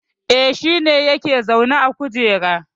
E, shi ne yake zaune a kujera